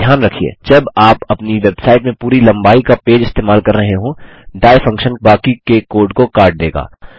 ध्यान रखिये जब आप अपनी वेबसाइट में पूरी लम्बाई का पेज इस्तेमाल कर रहे हों dieफंक्शन बाकी के कोड को काट देगा